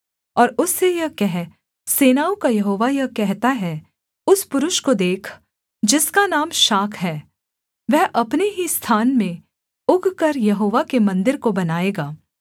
और उससे यह कह सेनाओं का यहोवा यह कहता है उस पुरुष को देख जिसका नाम शाख है वह अपने ही स्थान में उगकर यहोवा के मन्दिर को बनाएगा